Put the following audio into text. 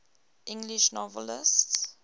english novelists